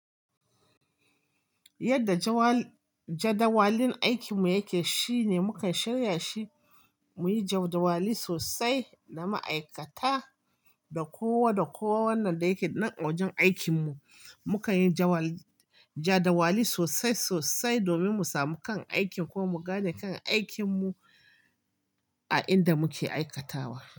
Yadda jadawalin aikinmu yake shine mukan shirya shi muyi jadawali sosai da ma'aikata da kowa da kowa wanda yake nan a wajen aikin mu. Mukan yi jadawali sosai sosai domin mu samu kan aikin ko mu gane kan aikinmu a inda muke aikatawa.